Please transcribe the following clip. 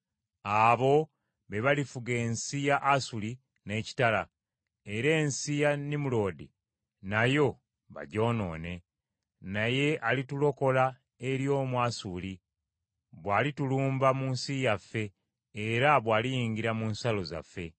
Abo be balifuga ensi ya Asuli n’ekitala era ensi ya Nimuloodi nayo bagyonoone. Naye alitulokola eri Omwasuli bw’alitulumba mu nsi yaffe era bw’aliyingira mu nsalo zaffe.